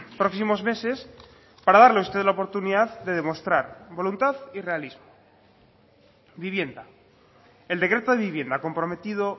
próximos meses para darle a usted la oportunidad de demostrar voluntad y realismo vivienda el decreto de vivienda comprometido